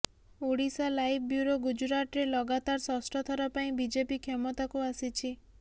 Odisha live bureau ଗୁଜୁରାଟରେ ଲଗାତାର ଷଷ୍ଠ ଥର ପାଇଁ ବିଜେପି କ୍ଷମତାକୁ ଆସିଛି